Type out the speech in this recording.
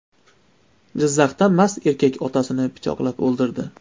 Jizzaxda mast erkak otasini pichoqlab o‘ldirdi.